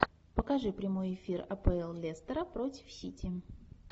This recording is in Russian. покажи прямой эфир апл лестера против сити